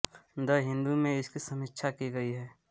the Hindu में इसकी समीक्षा की गई है